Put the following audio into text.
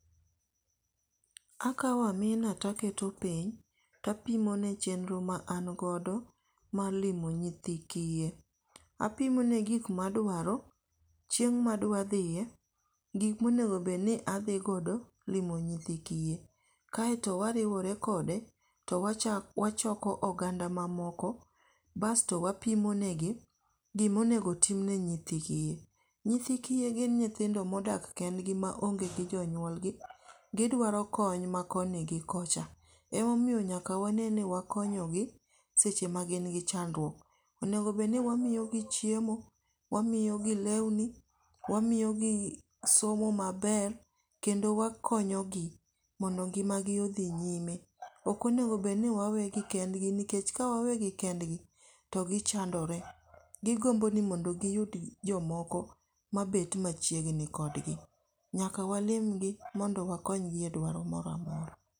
Akawo amina to aketo piny, to apimone chendro ma an godo mar limo nyithikiye apimone gik ma dwaro, chieng' ma adwathiye, gik monego bed ni athi godo limo nyithi kiye, kaeto wariwore kode to wachoko oganda mamoko basto wapimonegi gima onego timne nyithi kiye. Nyithikiye gin nyithindo ma odak kendgi maonge gi jonyuolgi, gidwaro kony ma koni gi kocha, emomiyo nyaka waneni wakonyogi seche ma gin gi chandruok, onego bed ni wamiyogi chiemo, wamiyogi lewni, wamiyogi somo maber, kendo wakonyogi mondo ngi'magi othi nyime, okonego bed ni wawegi kendgi nikech kawawegi kendgi to gichandore, gigombo ni mondo giyud jomoko mabet machiegni kodgi, nyaka walimgi mondo wakonygi e dwaro moro amora.